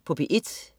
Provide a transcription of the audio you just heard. P1: